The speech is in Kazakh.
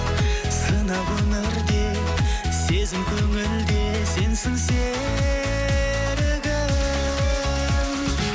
сынақ өмір де сезім көңіл де сенсің серігім